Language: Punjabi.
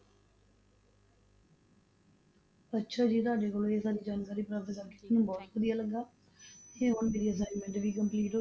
ਅੱਛਾ ਜੀ ਤੁਹਾਡੇ ਕੋਲੋਂ ਇਹ ਸਾਰੀ ਜਾਣਕਾਰੀ ਪ੍ਰਾਪਤ ਕਰਕੇ ਮੈਨੂੰ ਬਹੁਤ ਵਧੀਆ ਲੱਗਾ, ਤੇ ਹੁਣ ਮੇਰੀ assignment ਵੀ complete ਹੋ,